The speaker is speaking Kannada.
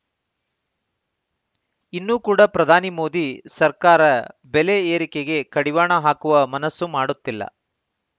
ಇನ್ನೂ ಕೂಡ ಪ್ರಧಾನಿ ಮೋದಿ ಸರ್ಕಾರ ಬೆಲೆ ಏರಿಕೆಗೆ ಕಡಿವಾಣ ಹಾಕುವ ಮನಸ್ಸು ಮಾಡುತ್ತಿಲ್ಲ